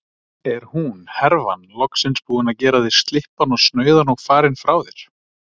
Er hún, herfan, loksins búin að gera þig slyppan og snauðan og farin frá þér?